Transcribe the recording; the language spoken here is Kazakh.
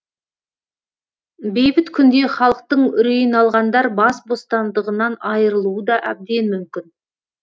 бейбіт күнде халықтың үрейін алғандар бас бостандығынан айырылуы да әбден мүмкін